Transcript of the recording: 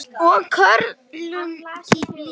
Og körlum líka.